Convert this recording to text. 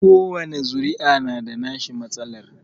Kowani zuri'a na da nashi matsalar